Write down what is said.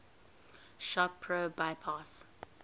shop pro bypass